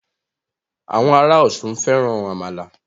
Àwọn ará Ọ̀ṣun fẹ́ran àmàlà